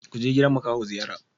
Kuje gidan makaho ziyara!